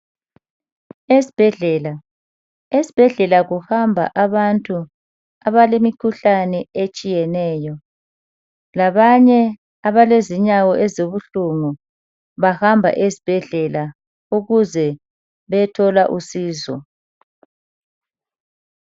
Esibhedlela kuhamba abantu abalemikhuhlane etshiyeneyo labanye abalezinyawo ezibuhlungu. Bahamba esibhedlela ukuze beyethola usizo